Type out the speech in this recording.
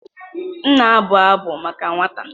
M na-abụ abụ maka nwa taa.